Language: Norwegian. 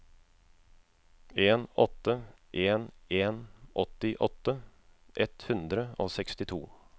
en åtte en en åttiåtte ett hundre og sekstito